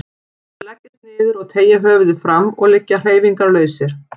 Þeir leggjast niður og teygja höfuðið fram og liggja hreyfingarlausir.